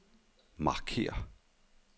markér